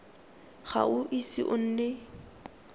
ga o ise o nne